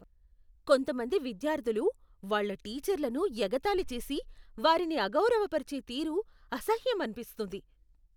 కొంతమంది విద్యార్థులు వాళ్ళ టీచర్లను ఎగతాళి చేసి వారిని అగౌరవపరిచే తీరు అసహ్యమనిపిస్తుంది.